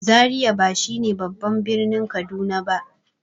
Zariya ba shi ne babban birnin Kaduna ba.